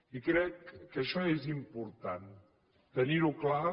i crec que això és important tenir ho clar